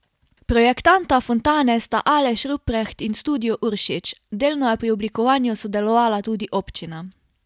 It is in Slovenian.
Projektanta fontane sta Aleš Rupreht in Studio Uršič, delno je pri oblikovanju sodelovala tudi občina.